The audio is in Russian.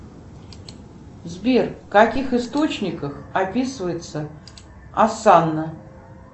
сбер в каких источниках описывается осанна